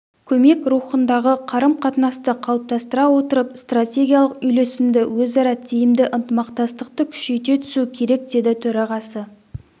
көмек рухындағы қарым-қатынасты қалыптастыра отырып стратегиялық үйлесімді өзара тиімді ынтымақтастықты күшейте түсу керек деді төрағасы